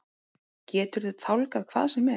Geturðu tálgað hvað sem er?